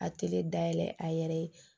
A tele dayɛlɛ a yɛrɛ ye